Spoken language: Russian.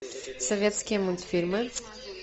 советские мультфильмы